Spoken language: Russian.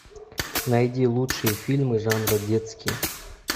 найди лучшие фильмы жанра детские